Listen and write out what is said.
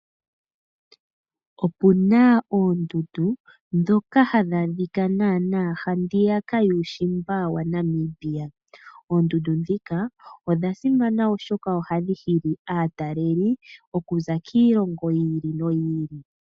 Opuna oondundu ndhoka hadhi adhika handiya yuushimba wa Namibia. Oondundu ndhika odhasimana oshoka ohadhi hili aataleli okuza kiilongo yi ili noyi ili.